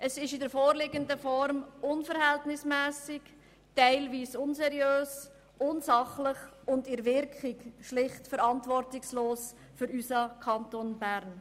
Es ist in der vorliegenden Form unverhältnismässig, teilweise unseriös, unsachlich und in seiner Wirkung schlicht verantwortungslos für unseren Kanton Bern.